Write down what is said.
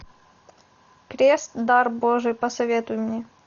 крест дар божий посоветуй мне